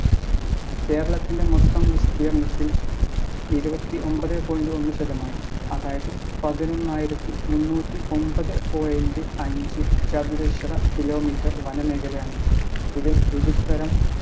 കേരളത്തിൻ്റെ മൊത്തം വിസ്തീർണ്ണത്തിൽ ഇരുപത്തി ഒമ്പതെ point ഒന്ന് ശതമാനം അതായത് പതിനൊന്നായിരത്തി മുന്നൂറ്റി ഒമ്പത്‌ point അഞ്ച് ചതുരശ്ര kilometre വനമേഖലയാണ് ഇതിൽ വിവിധ തരം